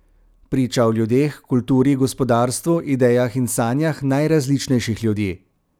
Priča o ljudeh, kulturi, gospodarstvu, idejah in sanjah najrazličnejših ljudi.